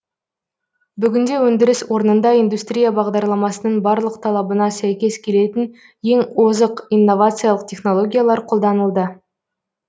бүгінде өндіріс орнында индустрия бағдарламасының барлық талабына сәйкес келетін ең озық инновациялық технологиялар қолданылды